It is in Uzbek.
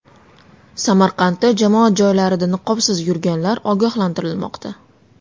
Samarqandda jamoat joylarida niqobsiz yurganlar ogohlantirilmoqda.